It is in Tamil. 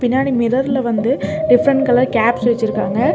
பின்னாடி மிரர்ல வந்து டிஃபரென்ட் கலர் கேப்ஸ் வெச்சிருக்காங்க.